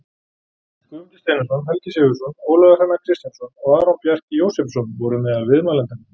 Guðmundur Steinarsson, Helgi Sigurðsson, Ólafur Hrannar Kristjánsson og Aron Bjarki Jósepsson voru meðal viðmælenda.